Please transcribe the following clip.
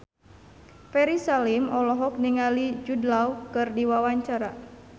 Ferry Salim olohok ningali Jude Law keur diwawancara